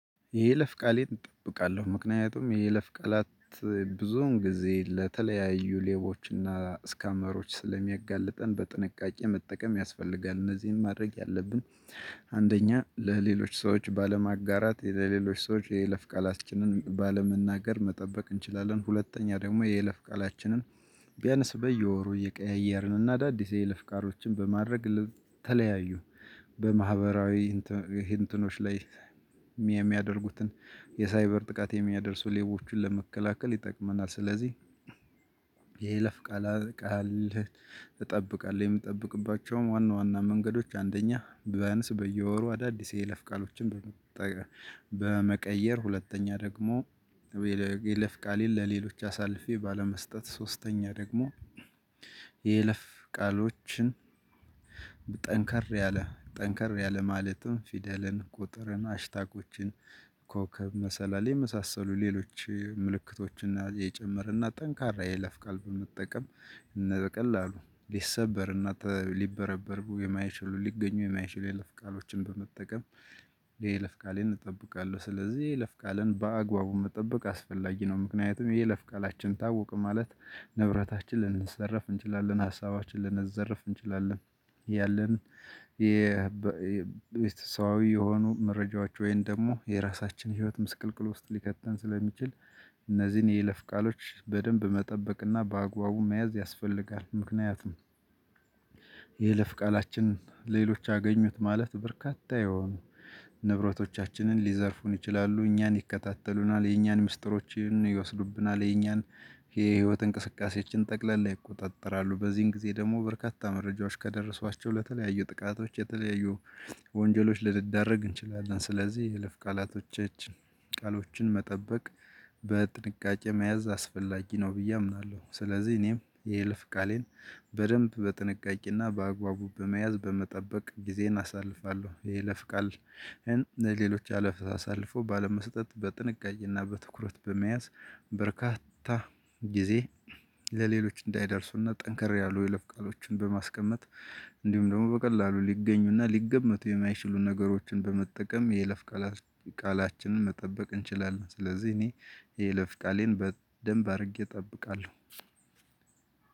የይለፍ ቃሌን እጠብቃለሁ። ምክንያቱም የይለፍ ቃላት ብዙውን ጊዜ ለተለያዩ ሌቦችና ስካመሮች ስለሚያጋልጠን በጥንቃቄ መጠቀም ያስፈልጋል። እነዚህን ማድረግ ያለብን አንደኛ ለሌሎች ሰዎች ባለማጋራት ለሌሎች ሰዎች የይለፍ ቃላችንን ባለመናገር መጠበቅ እንችላለን። ሁለተኛ ደግሞ የይለፍ ቃላችንን ቢያንስ በየወሩ እየቀያየርንና አዳዲስ የይለፍ ቃሎችን በማድረግ ተለያዩ በማህበራዊ እንትኖች ላይ የሚያደርጉትን የሳይበር ጥቃት የሚያደርሱ ሌቦችን ለመከላከል ይጠቅመናል። ስለዚህ የይለፍ ቃል ቃል እጠብቃለሁ። የምጠብቅባቸውም ዋና ዋና መንገዶች አንደኛ በያንስ በየወሩ አዳዲስ የይለፍ ቃሎችን በመቀየር ሁለተኛ ደግሞ የይለፍ ቃሌን ለሌሎች አሳልፌ ባለመስጠት። ሶስተኛ ደግሞ የይለፍ ቃሎችን ያለ ጠንከር ያለ ማለትም ፊደልን ቁጥርን ሀሽታጎችን ኮከብ መሰላል የመሳሰሉ ሌሎች ምልክቶችና እየጨመርንና ጠንካራ የይለፍ ቃል በመጠቀም በቀላሉ ሊሰበር እና ሊበረበሩ የማይችሉ ሊገኙ የማይችሉ የይለፍ ቃሎችን በመጠቀም የይለፍ ቃሌን እጠብቃለሁ። ስለዚህ የይለፍ ቃልን በአግባቡ መጠበቅ አስፈላጊ ነው። ምክንያቱም የይለፍ ቃላችን ታወቀ ማለት ንብረታችንን ልንዘረፍ እንችላለን፤ ሀሳባችንን ልንዘረፍ እንችላለን። ያለን የሰውአዊ የሆኑ መረጃዎች ወይን ደግሞ የራሳችን ህይወት ምስቅልቅል ውስጥ ሊከተን ስለሚችል እነዚህን የለፍ ቃሎች በደንብ መጠበቅና በአግባቡ መያዝ ያስፈልጋል። ምክንያቱም የይለፍ ቃላችንን ሌሎች አገኙት ማለት በርካታ የሆኑ ንብረቶቻችንን ሊዘርፉን ይችላሉ። እኛን ይከታተሉናል። የእኛን ምስጢሮችን ይወስዱብናል። የኛን የህይወት እንቅስቃሴያችን ጠቅላል ይቆጣጠራሉ። በዚህን ጊዜ ደግሞ በርካታ መረጃዎች ከደረሷቸው ለተለያዩ ጥቃቶች የተለያዩ ወንጀሎች ልንዳረግ እንችላለን። ስለዚህ የልፍ ቃላቶች ቃሎችን መጠበቅ በጥንቃቄ መያዝ አስፈላጊ ነው ብዬ አምናለሁ። ስለዚህ እኔም የይለፍ ቃሌን በደንብ በጥንቃቄና በአግባቡ በመያዝ በመጠበቅ ጊዜን አሳልፋለሁ። የይለፍ ቃል ለሌሎች አለፍ አሳልፎ ባለመሰጠት በጥንቃቄና በትኩረት በመያዝ በርካታ ጊዜ ለሌሎች እንዳይደርሱና ጠንከር ያሉ የለፍ ቃሎችን በማስቀመጥ እንዲሁም ደግሞ በቀላሉ ሊገኙና ሊገመቱ የማይችሉ ነገሮችን በመጠቀም የይለፍ ቃላችንን መጠበቅ እንችላለን። ስለዚህ እኔ የይለፍ ቃሌን በደንብ አድርጌ እጠብቃለሁ።